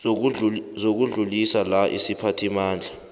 zokudluliswa la isiphathimandla